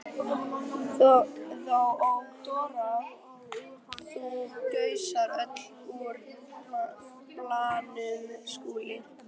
THEODÓRA: Þú gusar öllu úr balanum, Skúli!